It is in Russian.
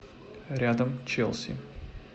рядом челси